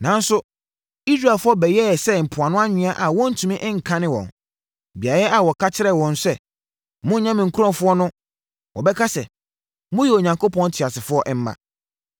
“Nanso, Israelfoɔ bɛyɛ sɛ mpoano anwea a wɔntumi nkane wɔn. Beaeɛ a wɔka kyerɛɛ wɔn sɛ, ‘Monnyɛ me nkurɔfoɔ’ no, wɔbɛka sɛ, ‘Moyɛ Onyankopɔn teasefoɔ mma.’